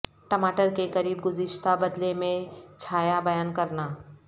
ٹماٹر کے قریب گزشتہ بدلے میں چھایا بیان کرنا